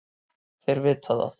Þeir vita það.